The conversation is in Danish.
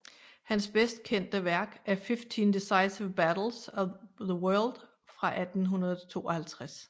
Hans bedst kendte værk er Fifteen Decisive Battles of the World fra 1852